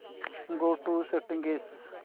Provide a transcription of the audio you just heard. go to settings